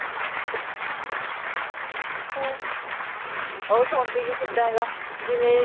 ਓਹੋ ਸੋਂਦੀ ਵੀ ਕਿੱਦਾਂ ਆ ਜਿਵੇਂ